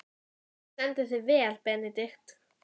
Þú stendur þig vel, Benedikt!